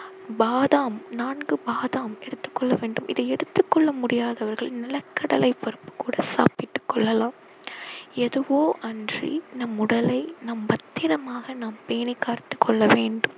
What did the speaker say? பாதாம் நான்கு பாதாம் எடுத்துக் கொள்ள வேண்டும் இதை எடுத்துக் கொள்ள முடியாதவர்கள் நிலக்கடலை பருப்பு கூட சாப்பிட்டுக் கொள்ளலாம் எதுவோ அன்றி நம் உடலை நம் பத்திரமாக நாம் பேணி காத்துக் கொள்ள வேண்டும்